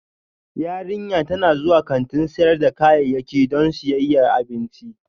Yarinyar tana zuwa kantin sayar da kayayyaki don siyan abinci